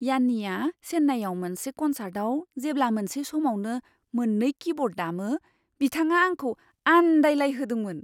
यान्नीआ चेन्नाईआव मोनसे कनसार्टआव जेब्ला मोनसे समावनो मोन नै कीब'र्ड दामो बिथाङा आंखौ आन्दायलायहोदोंमोन।